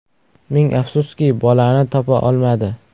Ming afsuski, bolani topa olmadi.